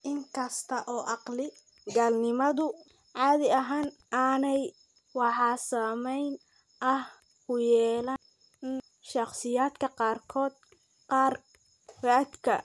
In kasta oo caqli-galnimadu caadi ahaan aanay wax saamayn ah ku yeelan, haddana shakhsiyaadka qaarkood waxay leeyihiin naafo garaadka.